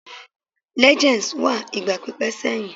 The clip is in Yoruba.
Legends wà igba pipẹ seyin